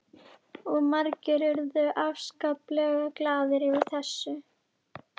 Og margir urðu afskaplega glaðir yfir þessu.